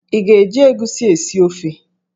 Ị ga-eji egusi esi ofe?